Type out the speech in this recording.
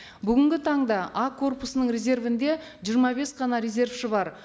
бүгінгі таңда а корпусының резервінде жиырма бес қана резервші бар